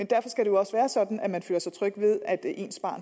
derfor skal det også være sådan at man føler sig tryg ved at ens barn